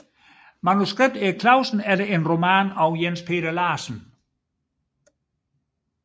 Manuskript Erik Clausen efter en roman af Jens Peder Larsen